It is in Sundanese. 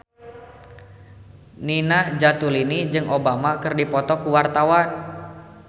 Nina Zatulini jeung Obama keur dipoto ku wartawan